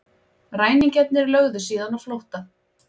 Ræningjarnir lögðu síðan á flótta